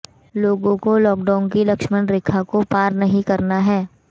लोगों को लॉकडाउन की लक्ष्मण रेखा को पार नहीं करना है